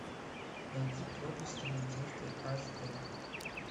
найди проблески надежды аш дэ